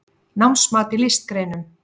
Námsmat í listgreinum